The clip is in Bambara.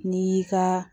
N'i y'i ka